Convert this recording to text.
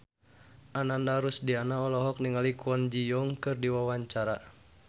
Ananda Rusdiana olohok ningali Kwon Ji Yong keur diwawancara